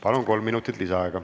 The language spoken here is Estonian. Palun, kolm minutit lisaaega!